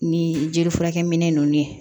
Ni jelifurakɛminɛ ninnu ye